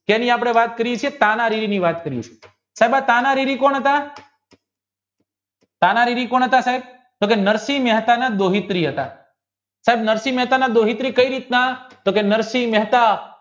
સેની આપણે વાત કરીયે છીએ પાનારીની વાત કરીયે છીએ સદા પાનારીવિ કોણ હતા પાનારીવિ કોણ હતા સાહેબ નરસિંહ મહેતાના દેાહિપ્રિય હતા સાહેબ નરસિંહ મહેતાનાકઈ રીતના તો કરી નરસિંહ મહેતા